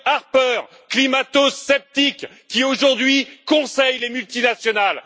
Harper, climato sceptique, qui aujourd'hui conseille les multinationales